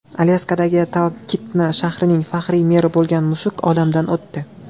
Alyaskadagi Talkitna shahrining faxriy meri bo‘lgan mushuk olamdan o‘tdi.